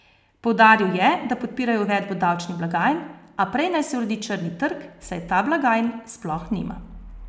Poudaril je, da podpirajo uvedbo davčnih blagajn, a prej naj se uredi črni trg, saj ta blagajn sploh nima.